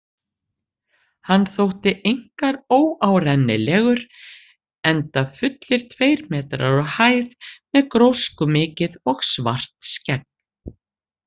Hann þótti einkar óárennilegur, enda fullir tveir metrar á hæð með gróskumikið og svart skegg.